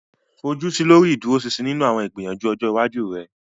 Fojusi lori iduroṣinṣin ninu awọn igbiyanju ọjọ iwaju rẹ.